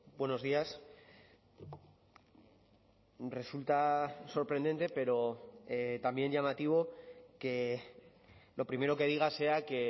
buenos días resulta sorprendente pero también llamativo que lo primero que diga sea que